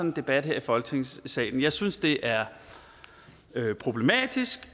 en debat her i folketingssalen jeg synes det er problematisk